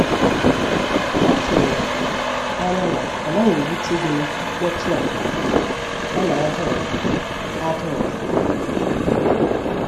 Atụrụ m anya na ọ naghị ewute gịnu mkpotu a, ọna ada ụda. ada ụda.